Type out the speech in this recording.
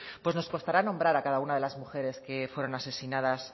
pues nos costará nombrar a cada una de las mujeres que fueron asesinadas